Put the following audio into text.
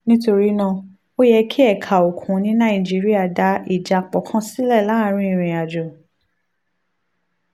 nítorí náà ó yẹ kí ẹ̀ka òkun ní nàìjíríà dá ìjápọ̀ kan sílẹ̀ láàárín ìrìn àjò